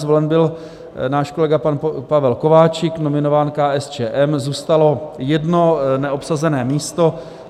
Zvolen byl náš kolega pan Pavel Kováčik, nominován KSČM, zůstalo jedno neobsazené místo.